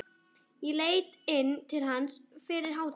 Ég leit inn til hans fyrir hádegi.